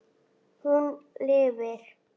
Hún lifir.